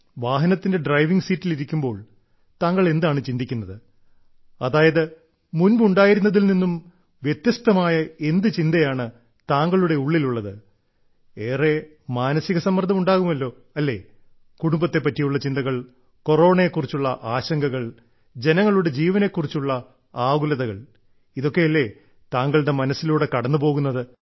വാഹനത്തിന്റെ ഡ്രൈവിംഗ് സീറ്റിൽ ഇരിക്കുമ്പോൾ താങ്കൾ എന്താണ് ചിന്തിക്കുന്നത് അതായത് മുൻപ് ഉണ്ടായിരുന്നതിൽ നിന്നും വ്യത്യസ്തമായ എന്ത് ചിന്തയാണ് താങ്കളുടെ ഉള്ളിലുള്ളത് ഏറെ മാനസിക സമ്മർദ്ദം ഉണ്ടാകുമല്ലോ അല്ലേ കുടുംബത്തെ പറ്റിയുള്ള ചിന്തകൾ കൊറോണയെ കുറിച്ചുള്ള ആശങ്കകൾ ജനങ്ങളുടെ ജീവനെ കുറിച്ചുള്ള ആകുലതകൾ ഇതൊക്കെയല്ലേ താങ്കളുടെ മനസ്സിലൂടെ കടന്നുപോകുന്നത്